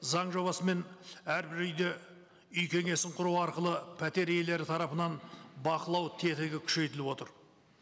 заң жобасымен әрбір үйде үй кеңесін құру арқылы пәтер иелері тарапынан бақылау тетігі күшейтіліп отыр